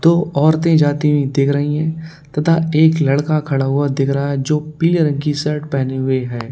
दो औरतें जाती हुई दिख रही हैं तथा एक लड़का खड़ा हुआ दिख रहा है जो पीले रंग की शर्ट पहने हुए है।